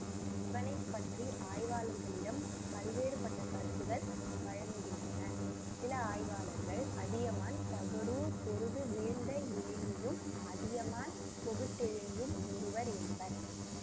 இவனை பற்றி ஆய்வாளர்களிடம் பல்வேறு பட்ட கருத்துகள் வழங்குகின்றன சில ஆய்வாளர்கள் அதியமான் தகடூர் பொருது வீழ்ந்த எழினியும் அதியமான் பொகுட்டெழினியும் ஒருவர் என்பர்